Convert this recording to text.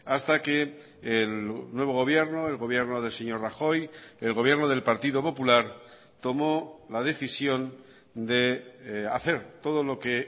hasta que el nuevo gobierno el gobierno del señor rajoy el gobierno del partido popular tomó la decisión de hacer todo lo que